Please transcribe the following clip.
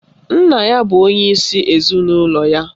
Nna ya bụ onyeisi ezinụlọ ya